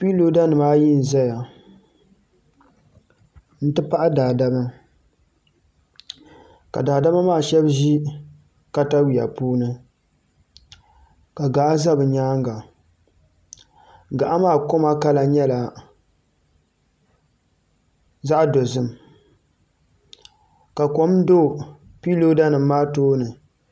Kiinoda nim ayi n ʒɛya n di pahi daadama ka daadama maa shab ʒi katawiya puuni ka gaɣa ʒɛ bi nyaanga gaɣa maa koma kala nyɛla zaɣ dozim ka kom do piinooda nim maa tooni